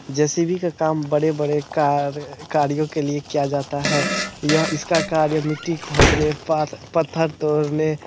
JCB. का काम बड़े-बड़े कार अ गाड़िया के लिया किया जाता है। यह इसका कार्य मिट्टी खोदने पा-पत्थर तोड़ने--